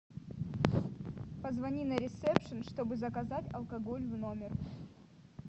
позвони на ресепшн чтобы заказать алкоголь в номер